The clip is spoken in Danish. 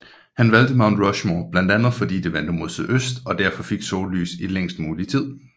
Han valgte Mount Rushmore blandt andet fordi det vendte mod sydøst og derfor fik sollys i længst muligt tid